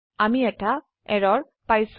আমি এটা এৰৰ পাইছো